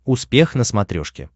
успех на смотрешке